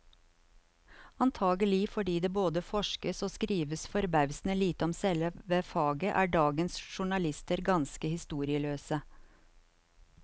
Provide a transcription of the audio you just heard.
Antagelig fordi det både forskes og skrives forbausende lite om selve faget, er dagens journalister ganske historieløse.